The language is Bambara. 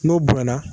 N'o bonyana